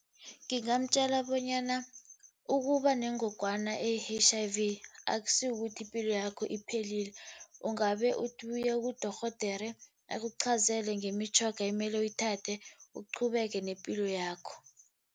Ngingamtjela bonyana ukuba nengogwana eyi-H_I_V, akusi kukuthi ipilo yakho iphelile. Ungabe uthi uye kudorhodere, akuqhazele ngemitjhoga ekumele uyithathe, uqhubeke nepilo yakho.